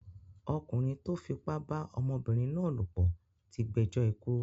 Ọkùnrin tó fipá bá ọmọbìnrin náà lòpọ̀ tí gbẹjọ́ ikú.